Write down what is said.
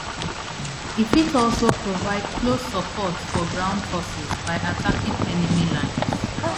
e fit also provide close support for ground forces by attacking enemy lines